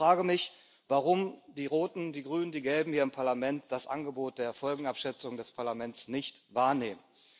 Ich frage mich, warum die Roten, die Grünen, die Gelben hier im Parlament das Angebot der Folgenabschätzung des Parlaments nicht wahrnehmen.